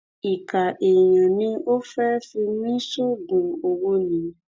ìkà èèyàn ni ò fẹ́ fi mí sóògùn owó ni